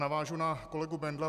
Navážu na kolegu Bendla.